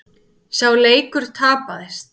Sá leikur tapaðist.